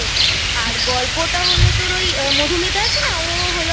আর গল্পটা হল তোর ওই মধুমিতা আছে না ও হল